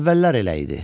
Əvvəllər elə idi.